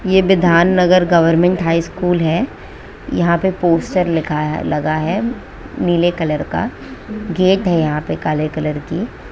यह Bidhannagar government high school है यहां पे पोस्टर लिखा है लगा है नीले कलर का गेट है यहां पे काले कलर की--